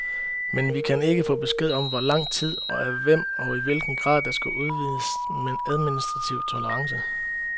Men vi kan ikke få besked om hvor lang tid, af hvem og i hvilken grad, der skal udvises administrativ tolerance.